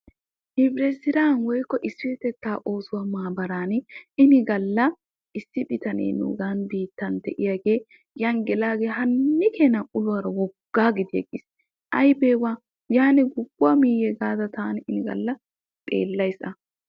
Hibiret siraa woykko isipetettaa oossuwaa maabaraani ini galla issi bitanee nuugan biittan de'iyaagee yan gelagee haanni keenaa uluwaara woggaa gidi aybeewa yaaniwa guguwaa mii gaada tani xeellays a.